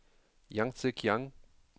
Yangtse Kiang